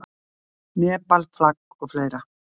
Nepal, flag of.